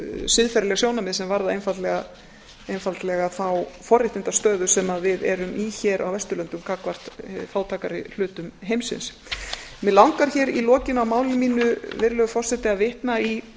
siðferðileg sjónarmið sem varða einfaldlega þá forréttindastöðu sem við erum í hér á vesturlöndum gagnvart fátækari hlutum heimsins mig langar hér í lokin á máli mínu virðulegur forseti að vitna í